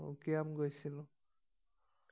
অ উকিয়াম গৈছিলো